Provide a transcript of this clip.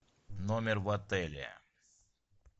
номер в отеле